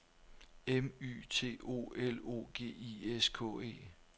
M Y T O L O G I S K E